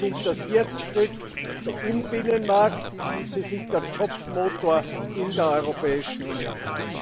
Sie sind das Herzstück im Binnenmarkt und sie sind der Jobmotor in der Europäischen Union.